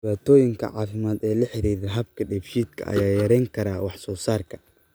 Dhibaatooyinka caafimaad ee la xidhiidha habka dheefshiidka ayaa yarayn kara wax soo saarka.